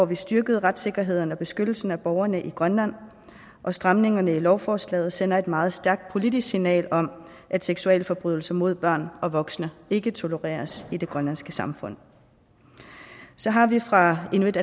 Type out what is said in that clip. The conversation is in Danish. vi styrket retssikkerheden og beskyttelsen af borgerne i grønland og stramningerne i lovforslaget sender et meget stærkt politisk signal om at seksualforbrydelser mod børn og voksne ikke tolereres i det grønlandske samfund så har vi fra inuit